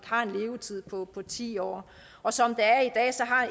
har en levetid på på ti år og som